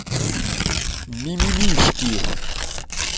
мимимишки